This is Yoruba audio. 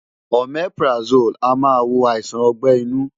Omeprazole a máa wo àìsàn ọgbẹ́ inú.